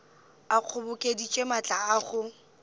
a kgobokeditše maatla a go